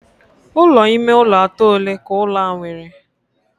Ulo ime ụlọ atọ ole ka ụlọ a nwere?